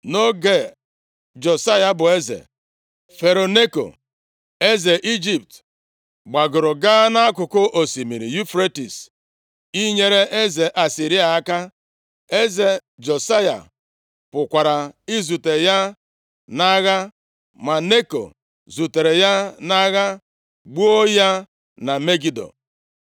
Nʼoge Josaya bụ eze, Fero Neko, eze Ijipt, gbagoro gaa nʼakụkụ osimiri Yufretis inyere eze Asịrịa aka. Eze Josaya pụkwara izute ya nʼagha, ma Neko zutere ya nʼagha, gbuo ya na Megido.